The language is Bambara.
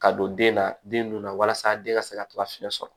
Ka don den na den nun na walasa den ka se ka to ka fiɲɛ sɔrɔ